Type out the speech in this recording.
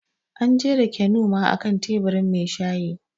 An jera Keanu ma a kan teburin mai shayi